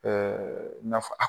naf a